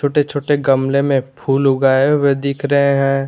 छोटे छोटे गमले में फूल उगाए हुए दिख रहे हैं।